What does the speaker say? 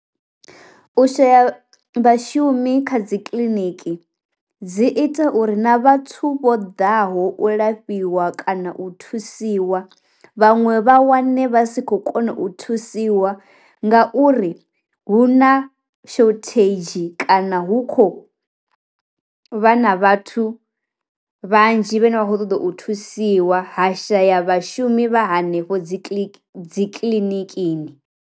U shaya vha shumi kha dzi kiliniki dzi ita uri na vhathu vho ḓaho u lafhiwa kana u thusiwa vhaṅwe vha wane vha si khou kona u thusiwa nga uri hu na shortage kana hu kho vha na vhathu vhanzhi vhane vha kho ṱoḓa u thusiwa ha shaya vhashumi vha hanefho dzi dzi kiḽinikini.